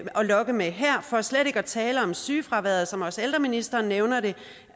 lokke med her for slet ikke at tale om sygefraværet som også ældreministeren nævnte det er